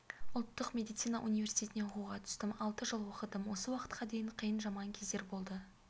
ұлттық медицина университетіне оқуға түстім алты жыл оқыдым осы уақытқа дейін қиын жаман кездер болды